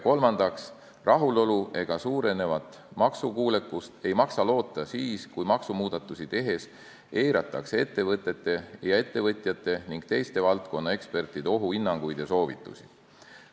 Kolmandaks, rahulolu ega suurenevat maksukuulekust ei maksa loota siis, kui maksumuudatusi tehes eiratakse ettevõtjate ning teiste ekspertide ohuhinnanguid ja soovitusi.